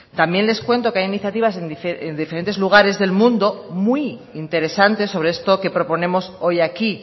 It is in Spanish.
también les cuento que hay iniciativas en diferentes lugares del mundo muy interesantes sobre esto que proponemos hoy aquí